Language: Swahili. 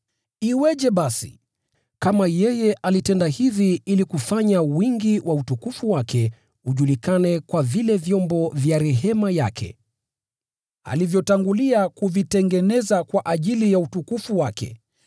Iweje basi, kama yeye alitenda hivi ili kufanya wingi wa utukufu wake ujulikane kwa vile vyombo vya rehema yake, alivyotangulia kuvitengeneza kwa ajili ya utukufu wake,